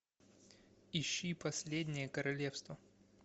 ищи последнее королевство